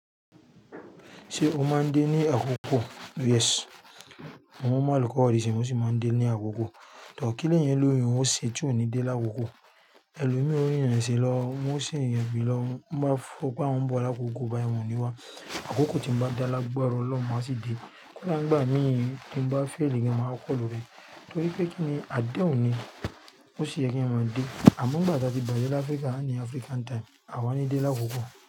Ṣé o máa ń dé ní àkókò? Yes. Mo mọ àlùkọ́ òdì si emi sì máa ń dé ní àkókò. Too kí leyan o óloún ó ṣé tí ò ní dé lákókò? Ẹlòmíòrín o rin irin eṣe lọ, wọ́n sì n yẹ̀bì lọ. Mo bá fún un pé awon n bọ̀ l'àkókò báayi won o ni wá. Àkókò tí mo bá dáa lágbara oloun, maá sì dé. Kí ló ń gbà mí tí mo bá fail èyan mo máa kọ́ lóore? Torí pé kí ni? Àdehun ní, ó sì yẹ kí eyan máa dé. Àmọ́ nigbà tí a ti bàjẹ́ l'áfríkà a ni African time, à wa ní dé lákókò.